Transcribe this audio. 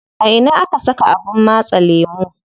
A ina aka saka abin matse lemu?